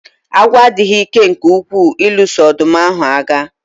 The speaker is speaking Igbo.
Agwọ adịghị ike nke ukwuu ịlụso ọdụm ahu agha